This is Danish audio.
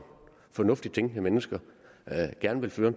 fornuftigt tænkende mennesker gerne vil føre